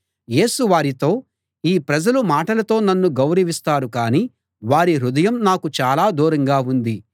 యేసు వారితో ఈ ప్రజలు మాటలతో నన్ను గౌరవిస్తారు కాని వారి హృదయం నాకు చాలా దూరంగా ఉంది